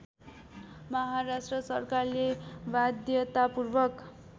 महाराष्ट्र सरकारले वाध्यतापूर्वक